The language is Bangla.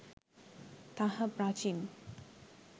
তাহা প্রাচীন